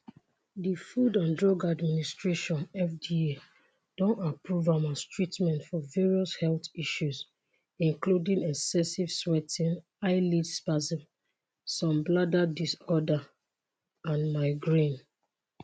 di food and drug administration (fda) don approve am as treatment for various health issues including excessive sweating eyelid spasm some bladder disorders and migraine.